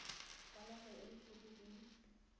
kwa nageng e dithoto di